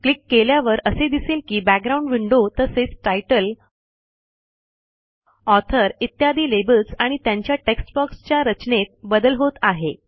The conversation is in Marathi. क्लिक केल्यावर असे दिसेल की बॅकग्राउंड विंडो तसेच तितले ऑथर इत्यादी लेबल्स आणि त्यांच्या टेक्स्ट बॉक्सच्या रचनेत बदल होत आहे